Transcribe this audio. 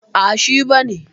Ah, shi ba ne.